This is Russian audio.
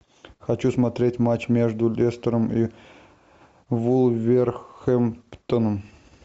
хочу смотреть матч между лестером и вулверхэмптоном